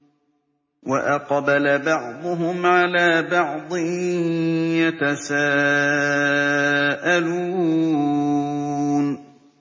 وَأَقْبَلَ بَعْضُهُمْ عَلَىٰ بَعْضٍ يَتَسَاءَلُونَ